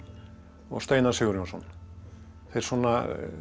og Steinar Sigurjónsson þeir svona